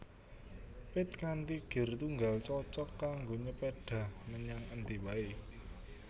Pit kanthi gir tunggal cocog kanggo nyepédhah menyang endi waé